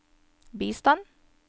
bistand